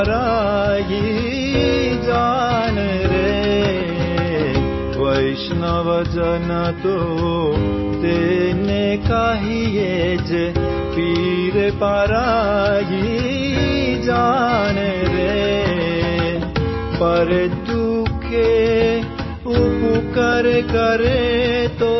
பாடல் வைஷ்ணவ ஜனதோ